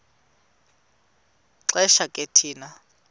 xesha ke thina